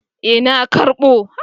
Eh na karbo